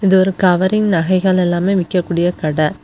இது ஒரு கவரிங் நகை எல்லாம் விற்கக்கூடிய கடை.